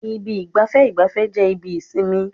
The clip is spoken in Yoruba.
Ibi ìgbafẹ́ ìgbafẹ́ jẹ́ ibi ìsinmi.